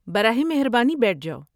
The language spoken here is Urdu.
براہ مہربانی بیٹھ جاؤ۔